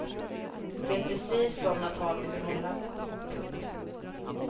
Det är precis sådana tal vi vill hålla. punkt